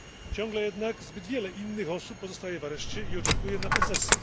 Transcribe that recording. Ciągle jednak zbyt wiele innych osób pozostaje w areszcie i oczekuje na procesy.